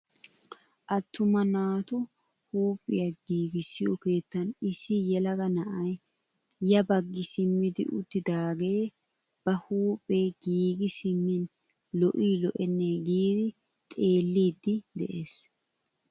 Attuma naatu huuphphiyaa giigissiyoo keettan issi yelaga na'ay ya baggi simmidi uttidaagee ba huuphphee giigi simmin lo"ii lo"ennee giidi xeellidi de'ees!